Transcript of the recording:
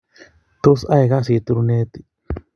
Tos ae kasit RUnet?